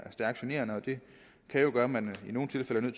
er stærkt generende og det kan jo gøre at man i nogle tilfælde